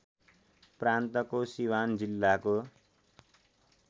प्रान्तको सिवान जिल्लाको